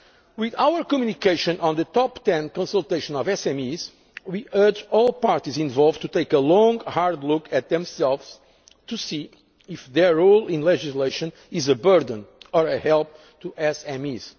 year. With our communication on the Top Ten' consultation of SMEs, we urge all parties involved to take a long hard look at themselves to see if their role in legislation is a burden or a help